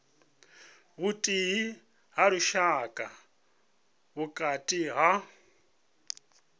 vhuthihi ha lushaka vhukati ha